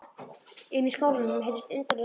Inni í skálanum heyrðust undarleg soghljóð.